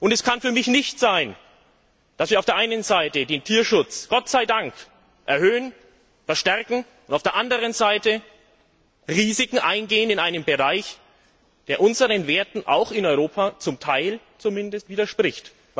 Es kann für mich nicht sein, dass wir auf der einen Seite den Tierschutz Gott sei Dank erhöhen, verstärken und auf der anderen Seite Risiken eingehen in einem Bereich, der unseren Werten auch in Europa zum Teil zumindest widerspricht.